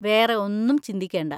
വേറെ ഒന്നും ചിന്തിക്കേണ്ട.